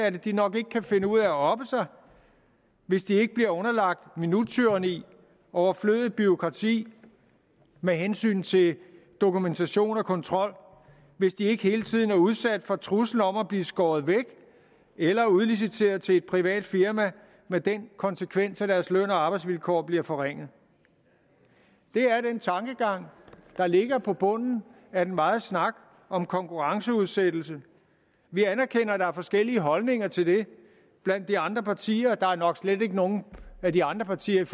at de nok ikke kan finde ud af at oppe sig hvis de ikke bliver underlagt minuttyranni overflødigt bureaukrati med hensyn til dokumentation og kontrol hvis de ikke hele tiden er udsat for truslen om at blive skåret væk eller udliciteret til et privat firma med den konsekvens at deres løn og arbejdsvilkår bliver forringet det er den tankegang der ligger på bunden af den megen snak om konkurrenceudsættelse vi anerkender at der er forskellige holdninger til det blandt de andre partier der er nok slet ikke nogen af de andre partier